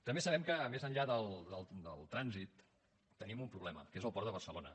també sabem que més enllà del trànsit tenim un problema que és el port de barcelona